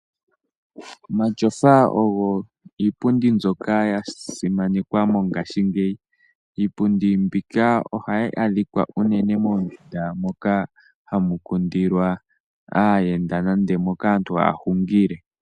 Omatyofa ogo iipundi mbyoka ya simanekwa mongashingeyi. Iipundi mbika oha yi adhikwa unene moondunda moka hamu kundilwa aayenda, nenge moka aantu ha ya hungile.